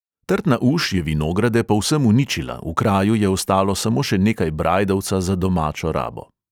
Trtna uš je vinograde povsem uničila, v kraju je ostalo samo še nekaj brajdovca za domačo rabo.